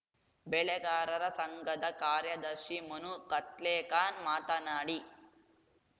ಬೆಳೆಗಾರರ ಸಂಘದ ಕಾರ್ಯದರ್ಶಿ ಮನು ಕತ್ಲೇಕಾನ್‌ ಮಾತನಾಡಿ